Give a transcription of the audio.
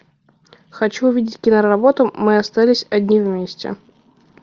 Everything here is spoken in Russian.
хочу увидеть киноработу мы остались одни вместе